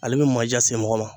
Ale bɛ manja se mɔgɔ ma.